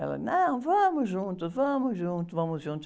Ela, não, vamos juntos, vamos juntos, vamos juntos.